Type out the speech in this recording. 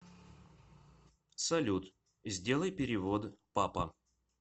салют сделай перевод папа